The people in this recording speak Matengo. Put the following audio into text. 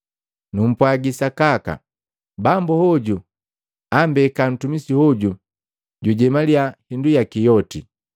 Numpwagi sakaka, bambu hoju ammbeka ntumisi hoju jujemaliya hindu yaki yoti.